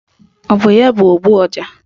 Ọ bụ ya bụ ogbu ọja?